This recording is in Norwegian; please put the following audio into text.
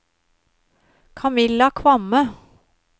Camilla Kvamme